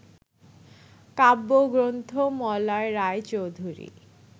কাব্যগ্রন্থ - মলয় রায়চৌধুরী